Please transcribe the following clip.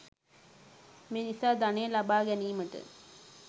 මේ නිසා ධනය ලබා ගැනීමට